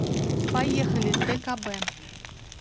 поехали ткб